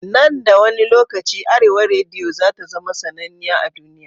Nan da wani lokaci arewa rediyo zata zama sannaniya a duniya